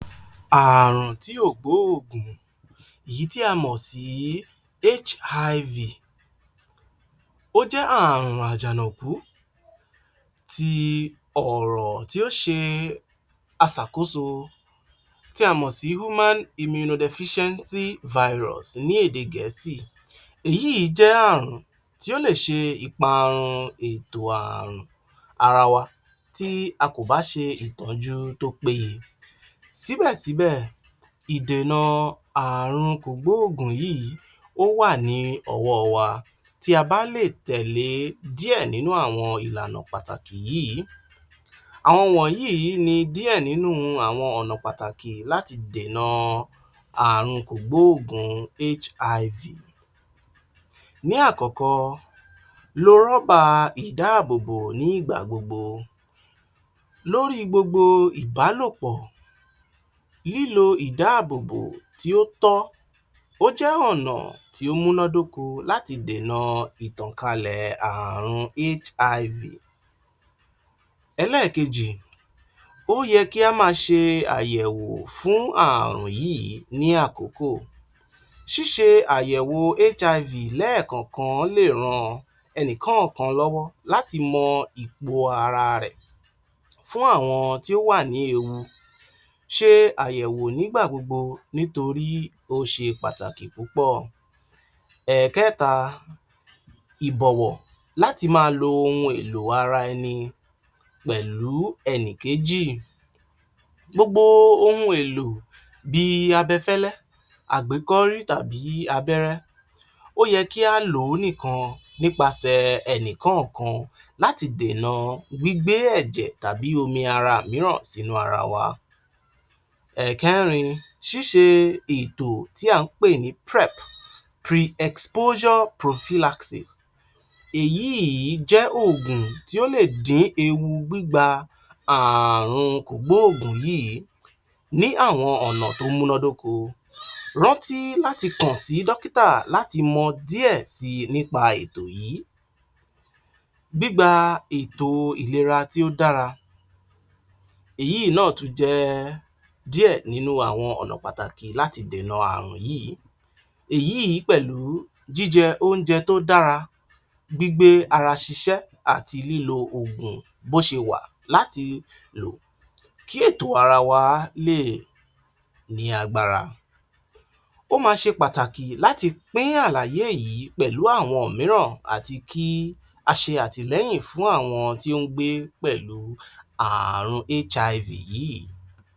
Ààrùn tí ó gbó ògùn èyí tí a mọ̀ sí HIV ó jẹ́ àrùn àjànàkú ti ọ̀rọ̀ tó ṣe aṣàkóso tí a mọ̀ sí Human Imunno deficiency virus ní èdè Gẹ̀ẹ́sì èyí jẹ́ àrùn tí ó lè ṣe ìparun ẹ̀tò àrùn ara wa tí a kò bá ṣe ìtọ́jú tó péye síbẹ̀síbẹ̀ ìdènà àrun kò gbó òògùn yìí ó wà ní ọwọ́ wa. Tí a bá lè tẹ̀lé díẹ̀ nínú àwọn ìlànà pàtàkì yìí àwọn wọ̀nyí ni díẹ̀ nínú àwọn ọ̀nà pàtàkì láti dènà àrun kò gbó òògùn HIV ní àkókò lo rọ́bà ìdá à bòbò ní ìgbà lórí gbogbo ìbálòpọ̀ lílo ìdá àbòbò tí ó tọ́ ó jẹ́ ọ̀nà tí ó múná dóko láti dènà ìtàn kalẹ̀ àrùn HIV. Elẹ́kejì ó yé kí a má a ṣe àyẹ̀wò fún àrùn yìí ní àkókò. Ṣíṣe àyẹ̀wò HIV lẹ́ ẹ̀ kọ̀kan lè ran ẹnìkọ́kan lọ́wọ́ láti mọ ipò ara rẹ̀, fún àwọn tí ò ní ewu ṣe àyẹ̀wò ní gbà gbogbo nítorí ó ṣe pàtàkì púpọ̀. Ẹ̀kẹ́ta ìbọ̀wọ̀ láti má a lo ohun èlò ara ẹni pẹ̀lú ẹnìkéjì. Gbogbo ohun èlò bíi abẹ fẹ́lẹ́, àgbékọ́rí tàbí abẹ́rẹ́ ó yẹ kí a lò ó nìkan nípasẹ̀ ení kọ́ọ̀kan láti dènà gbígbé ẹ̀jẹ̀ àbí omi ara míràn sínú ara wa. Ẹ̀kẹ́rin ṣíṣe ètò tí à ń pè ní PrEP, pre-exposure Prophylaxis èyí jẹ́ ògùn tí ó lè dín ewu gbígba ààrùn kò gbó òògùn yìí ní àwọn ọ̀nà tó múná dóko rántí láti kàn sí dókítà láti mọ díẹ̀ si ní pa ètò yìí. Gbígba ètò ìlera tí ó dára èyí náà tún jẹ́ díẹ̀ nínú àwọn ọ̀nà pàtàkì láti dènà àrùn yìí èyí pẹ̀lú. Jí jẹ oúnjẹ tó dára, gbígbé ara ṣiṣẹ́ àti lílo ògùn bó sẹ wà láti lò kí ètò ara wa lè ní agbára, o ma ṣe pàtàkì láti pín àlàyé yìí pẹ̀lú àwọn míràn àti kí a ṣe àtìlẹ́yìn fún àwọn tí ó ń gbé pẹ̀lú àààrùn HIV yìí